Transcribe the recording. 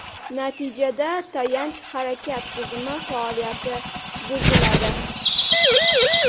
Natijada tayanch-harakat tizimi faoliyati buziladi.